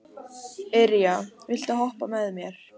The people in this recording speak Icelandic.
Irja, viltu hoppa með mér?